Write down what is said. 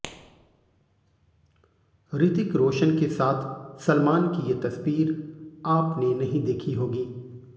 ऋतिक रोशन के साथ सलमान की ये तस्वीर आपने नहीं देखी होगी